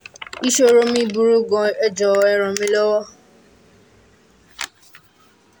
ìṣòro mi burú gan-an ẹ jọ̀wọ́ ẹ ràn mí lọ́wọ́